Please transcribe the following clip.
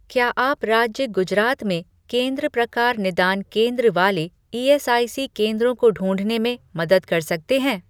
क्या आप राज्य गुजरात में केंद्र प्रकार निदान केंद्र वाले ईएसआईसी केंद्रों को ढूँढने में मदद कर सकते हैं